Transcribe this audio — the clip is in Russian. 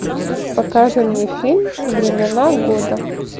покажи мне фильм времена года